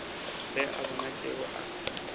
ge a bona tšeo a